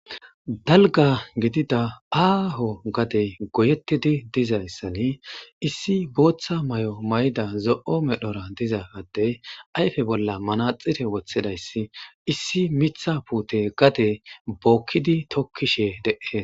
Dalgga gidida aaho gadee goyeththidi dizayssani issi booththa maayo mayida zo7o meroora diza addee ayfe bolla manatsire woththida issi miththa puuthe gadee bookkidi tokkishee de7ees.